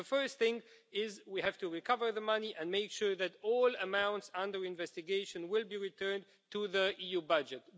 The first thing is that we have to recover the money and make sure that all amounts under investigation are returned to the EU budget.